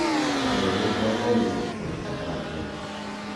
riwruogwa onge jopuonj kata matin